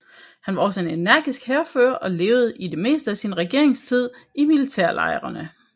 Han var også en energisk hærfører og levede i det meste af sin regeringstid i militærlejrene